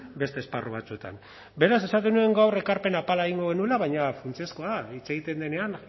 beste esparru batzuetan beraz esaten nuen gaur ekarpen apala egingo genuela baina funtsezkoa hitz egiten denean